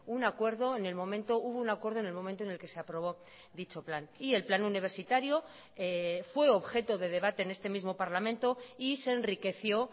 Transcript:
un acuerdo en el momento hubo un acuerdo en el momento en el que se aprobó dicho plan y el plan universitario fue objeto de debate en este mismo parlamento y se enriqueció